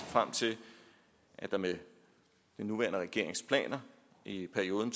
frem til at der med den nuværende regerings planer i perioden